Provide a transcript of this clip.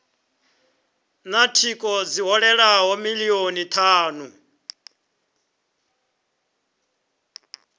na thingo dzi hovhelelaho milioni thanu